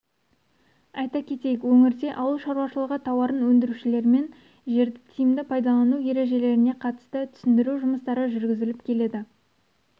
айта кетейік өңірде ауыл шаруашылығы тауарын өндірушілермен жерді тиімді пайдалану ережелеріне қатысты түсіндіру жұмыстары жүргізіліп келеді